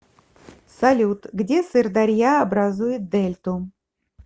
салют где сырдарья образует дельту